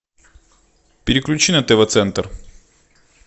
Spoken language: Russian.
переключи на тв центр